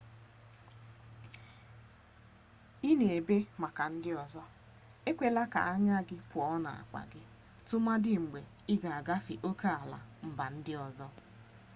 ị na-ebe maka ndị ọzọ ekwela ka anya gị pụọ n'akpa gị tụmadị mgbe ị na-agafe oke ala mba ndị ọzọ